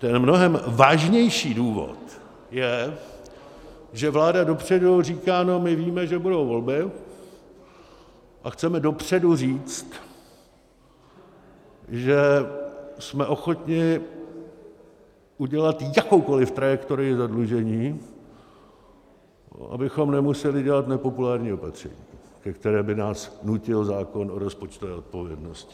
Ten mnohem vážnější důvod je, že vláda dopředu říká: No, my víme, že budou volby, a chceme dopředu říct, že jsme ochotni udělat jakoukoliv trajektorii zadlužení, abychom nemuseli dělat nepopulární opatření, ke kterému by nás nutil zákon o rozpočtové odpovědnosti.